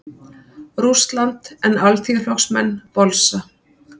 Rússland, en Alþýðuflokksmenn bolsa.